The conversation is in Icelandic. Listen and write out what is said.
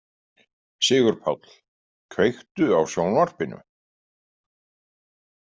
Sigurpáll, kveiktu á sjónvarpinu.